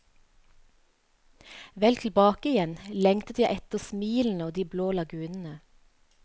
Vel tilbake igjen lengtet jeg etter smilene og de blå lagunene.